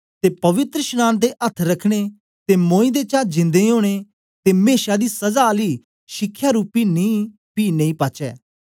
ते पवित्रशनांन ते अथ्थ रखने ते मोयें दें चा जिंदा ओनें ते मेशा दी सजा आली शिखयारूपी नीं पी नेई पाचै